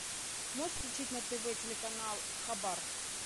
можешь включить на тв телеканал хабар